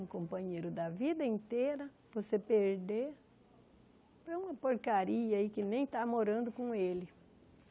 Um companheiro da vida inteira, você perder para uma porcaria aí que nem está morando com ele.